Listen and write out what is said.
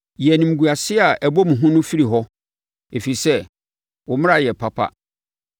Yi animguaseɛ a ɛbɔ me hu no firi hɔ, ɛfiri sɛ wo mmara yɛ papa.